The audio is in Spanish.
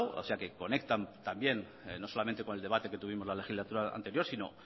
o sea que conectan también no solamente con el debate que tuvimos la legislatura anterior sino